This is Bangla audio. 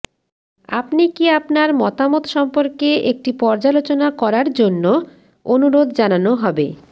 আপনি কি আপনার মতামত সম্পর্কে একটি পর্যালোচনা করার জন্য অনুরোধ জানানো হবে